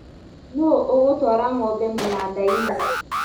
Nũ ũgũtwara ngombe mũnandainĩ